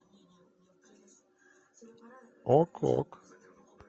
ок ок